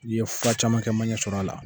i ye fura caman kɛ i ma ɲɛ sɔrɔ a la.